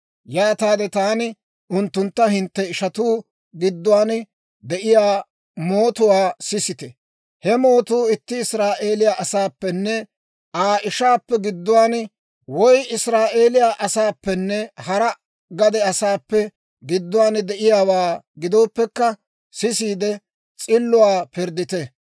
«Yaataade taani unttuntta, ‹Hintte ishanttu gidduwaan de'iyaa mootuwaa sisite; he mootuu itti Israa'eeliyaa asaappenne Aa ishaappe gidduwaan woy Israa'eeliyaa asaappenne hara gade asaappe gidduwaan de'iyaawaa gidooppekka, sisiide s'illuwaa pirddite.